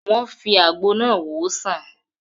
Wọ́n fi àwọn àgbo náà wòó sàn